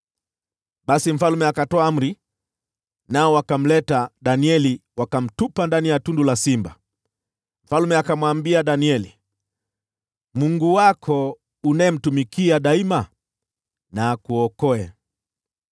Basi mfalme akatoa amri, nao wakamleta Danieli, na wakamtupa ndani ya tundu la simba. Mfalme akamwambia Danieli, “Mungu wako unayemtumikia daima na akuokoe!”